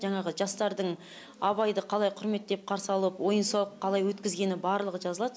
жаңағы жастардың абайды қалай құрметтеп қарсы алып ойын сауықты қалай өткізгені барлығы жазылады